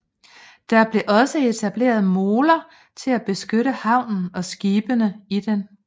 Der blev også etableret moler til at beskytte havnen og skibene i den